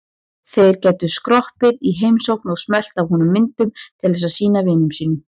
Þeir gætu skroppið í heimsókn og smellt af honum myndum til að sýna vinum sínum.